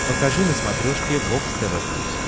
покажи на смотрешке бокс тв плюс